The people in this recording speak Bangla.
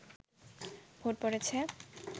ভোট পড়েছে